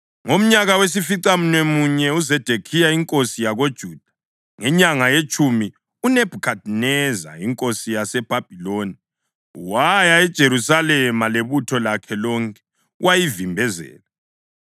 Ngomnyaka wesificamunwemunye kaZedekhiya inkosi yakoJuda, ngenyanga yetshumi, uNebhukhadineza inkosi yaseBhabhiloni waya eJerusalema lebutho lakhe lonke wayivimbezela.